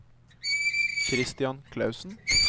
Kristian Klausen